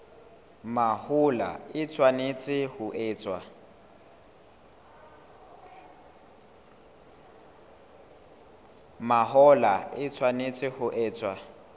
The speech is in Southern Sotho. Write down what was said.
mahola e tshwanetse ho etswa